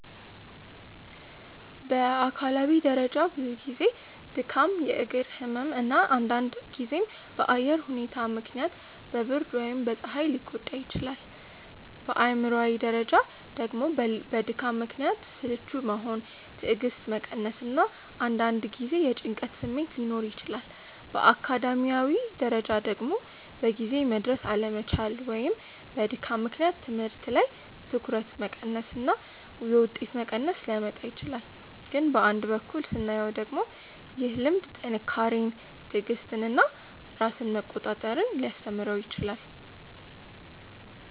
በአካላዊ ደረጃ ብዙ ጊዜ ድካም፣ የእግር ህመም እና አንዳንድ ጊዜም በአየር ሁኔታ ምክንያት በብርድ ወይም በፀሐይ ሊጎዳ ይችላል። በአእምሯዊ ደረጃ ደግሞ በድካም ምክንያት ስልቹ መሆን፣ ትዕግስት መቀነስ እና አንዳንድ ጊዜ የጭንቀት ስሜት ሊኖር ይችላል። በአካዳሚያዊ ደረጃ ደግሞ በጊዜ መድረስ አለመቻል ወይም በድካም ምክንያት ትምህርት ላይ ትኩረት መቀነስ እና የውጤት መቀነስ ሊያመጣ ይችላል። ግን በአንድ በኩል ስናየው ደግሞ ይህ ልምድ ጥንካሬን፣ ትዕግስትን እና ራስን መቆጣጠር ሊያስተምረው ይችላል